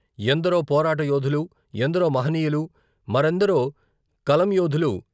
ఎందరో పోరాటయోధులు, ఎందరో మహనీయులు, మరిందరో కలంయోధులు.